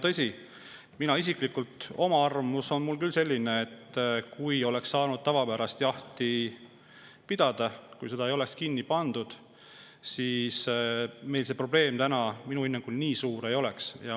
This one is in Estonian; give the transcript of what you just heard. Tõsi, minu isiklik arvamus ja hinnang on küll selline, et kui oleks saanud tavapäraselt jahti pidada, kui ei oleks seda, siis meil see probleem täna nii suur ei oleks.